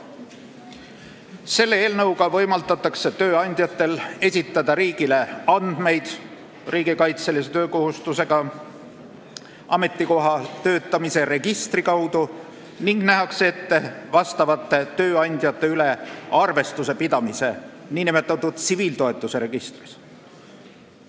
Selle eelnõuga võimaldatakse tööandjatel esitada riigile andmeid riigikaitselise töökohustusega ametikoha kohta töötamise registri kaudu ning nähakse ette nende tööandjate üle arvestuse pidamine tsiviiltoetuse registris.